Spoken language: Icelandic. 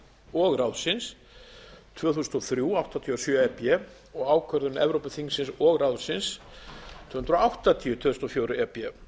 og ráðsins tvö þúsund og þrjú áttatíu og sjö e b og ákvörðun evrópuþingsins og ráðsins númer tvö hundruð áttatíu tvö þúsund og fjögur e b